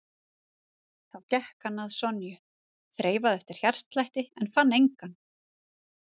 Þá gekk hann að Sonju, þreifaði eftir hjartslætti en fann engan.